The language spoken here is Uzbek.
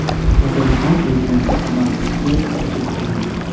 Tatariston prezidenti Samarqandga tashrif buyurdi.